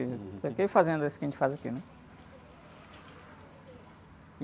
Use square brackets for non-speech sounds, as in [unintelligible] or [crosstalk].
[unintelligible] E fazendo isso que a gente faz aqui, né?